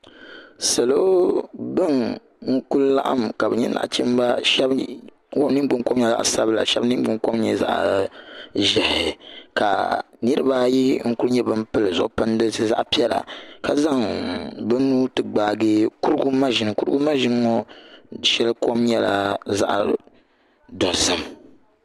salo n ku laɣam ka bi nyɛ nachimba shab ningbuni kom nyɛla zaɣ sabila shab ningbuni kom nyɛla zaɣ ʒiɛhi ka niraba ayi n ku nyɛ bin pili zuɣu pindisi zaɣ piɛla ka zaŋ bi nuu ti gbaagi kurugu maʒini kurugu maʒini ŋo shɛli kom nyɛla zaɣ dozim